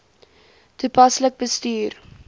toepaslik bestuur